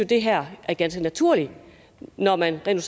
det her er ganske naturligt når man rent